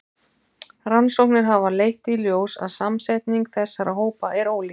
Rannsóknir hafa leitt í ljós að samsetning þessara hópa er ólík.